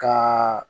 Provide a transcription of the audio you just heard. Ka